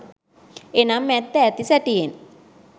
එනම් ඇත්ත ඇති සැටියෙන්